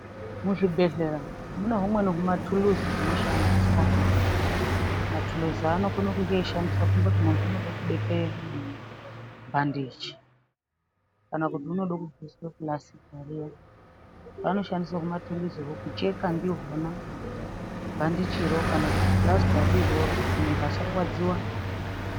Muzvibhedhlera mune humweni humatuluzi hunoshandiswa matuluzi anokone kunge eishandiswa tomboti muntu unode kubekwe onini bhandichi kana kuti unode kubviswe pulasita riya vanoshandise humatuluzihwo kucheka ndihwona bhandichi ro kana kuti pulastaro iroro kuti muntu asarwadziwa.